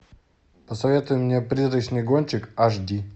посоветуй мне призрачный гонщик аш ди